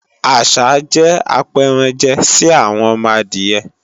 àsá jẹ́ apẹranjẹ sí àwọn ọmọ adìyẹ